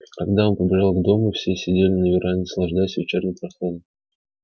когда он подбежал к дому все сидели на веранде наслаждаясь вечерней прохладой